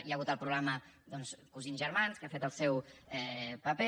hi ha hagut el programa doncs cosins germans que ha fet el seu paper